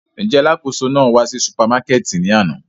Njẹ alakoso nàa wa ni supamakẹti ni ana?